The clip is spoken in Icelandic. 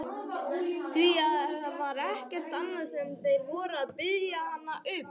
Því það var ekkert annað sem þeir voru að biðja hann um!